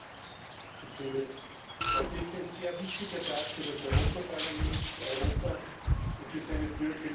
Frau Präsidentin! Heute ist ein sehr wichtiger Tag für das Europäische Parlament, für Europa und für seine Bürgerinnen und Bürger.